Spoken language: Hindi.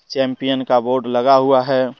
चैंपियन का बोर्ड लगा हुआ है।